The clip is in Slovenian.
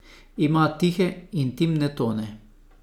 Ima tihe, intimne tone.